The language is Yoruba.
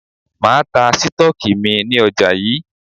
Máa ta Sítọ́ọ́kì mi ní ọjà yí.